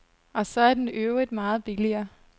Og så er den i øvrigt meget billigere.